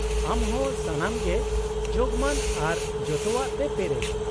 -ᱟᱢ ᱦᱚ ᱥᱚᱢᱟᱱ ᱜᱮ ᱡᱳᱜᱢᱟᱱ ᱟᱨ ᱡᱚᱛᱚᱣᱟᱜ ᱛᱮ ᱯᱮᱨᱮᱡ ᱾